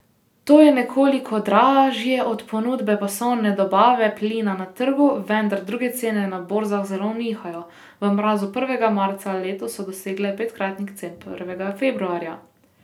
To je nekoliko dražje od ponudbe pasovne dobave plina na trgu, vendar druge cene na borzah zelo nihajo, v mrazu prvega marca letos so dosegle petkratnik cen prvega februarja.